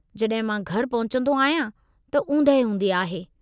जॾहिं मां घरि पहुचंदो आहियां त उंदहि हूंदी आहे।